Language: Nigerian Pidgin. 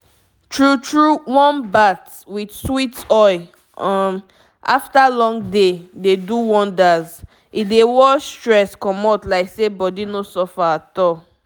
true true warm bath with sweet oil um after long day dey do wonders—e dey wash stress commot like say body no suffer at all.